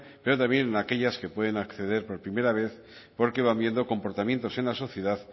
pero también en aquellas que pueden acceder por primera vez porque van viendo comportamientos en la sociedad